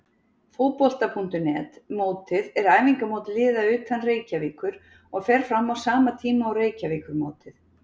Fótbolta.net mótið er æfingamót liða utan Reykjavíkur og fer fram á sama tíma og Reykjavíkurmótið.